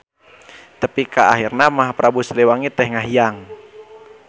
Tepi ka ahirna mah Prabu Siliwangi teh ngahiang.